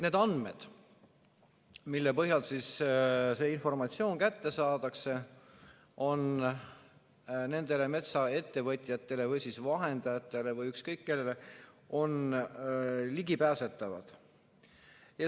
Need andmed, mille põhjal see informatsioon kätte saadakse, on nendele metsaettevõtjatele või vahendajatele või ükskõik kellele ligipääsetavad.